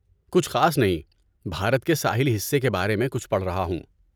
کچھ خاص نہیں، بھارت کے ساحلی حصے کے بارے میں کچھ پڑھ رہا ہوں۔